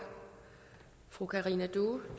fru karina due